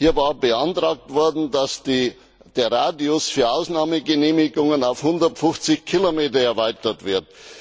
Hier war beantragt worden, dass der Radius für Ausnahmegenehmigungen auf 150 Kilometer erweitert wird.